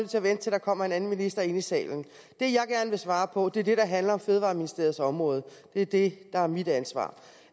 til at vente til der kommer en anden minister ind i salen det jeg gerne vil svare på er det der handler om fødevareministeriets område det er det der er mit ansvar